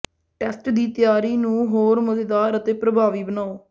test ਦੀ ਤਿਆਰੀ ਨੂੰ ਹੋਰ ਮਜ਼ੇਦਾਰ ਅਤੇ ਪ੍ਰਭਾਵੀ ਬਣਾਓ